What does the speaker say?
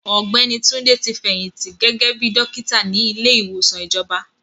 Ọ̀gbẹ́ni Túndé ti fẹ̀yìntì gẹ́gẹ́ bíi dọ́kítà ní ilé ìwòsàn ìjọba.